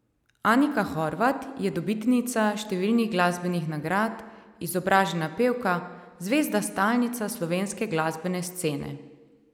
Anika Horvat je dobitnica številnih glasbenih nagrad, izobražena pevka, zvezda stalnica slovenske glasbene scene.